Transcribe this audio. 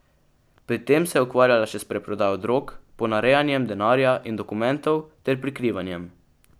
Pri tem se je ukvarjala še s preprodajo drog, ponarejanjem denarja in dokumentov ter prikrivanjem.